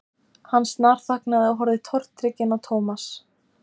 Hann snarþagnaði og horfði tortrygginn á Thomas.